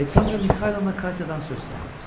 Aleksandra Mixaylovna Katyadan söz saldı.